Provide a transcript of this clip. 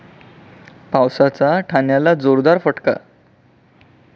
पावसाचा ठाण्याला जोरदार फटका